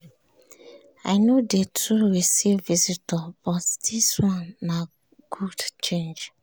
i no dey too receive visitor but dis one na good change.